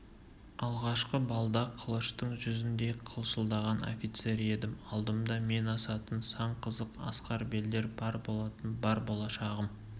алғашқы балда қылыштың жүзіндей қылшылдаған офицер едім алдымда мен асатын сан қызық асқар белдер бар болатын бар болашағым